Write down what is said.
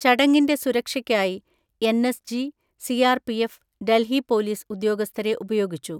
ചടങ്ങിന്റെ സുരക്ഷയ്ക്കായി NSG, CRPF, Delhi police ഉദ്യോഗസ്ഥരെ ഉപയോഗിച്ചു.